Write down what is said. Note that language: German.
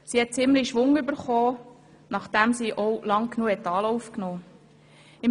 Sie hat nun ziemlichen Schwung erhalten, nachdem sie auch lange genug Anlauf genommen hatte.